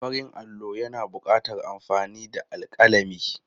Farin allo yana buƙatar amfani da alƙalami.